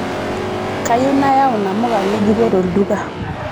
Kayieu nayau namuka ng'ejuko tolduka.